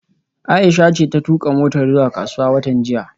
Aisha ce ta tuka motar zuwa kasuwa watan jiya